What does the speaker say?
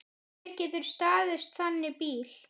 Hver getur staðist þannig bíl?